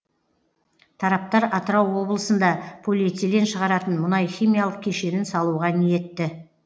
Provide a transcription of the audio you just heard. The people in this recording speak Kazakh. тараптар атырау облысында полиэтилен шығаратын мұнайхимиялық кешенін салуға ниетті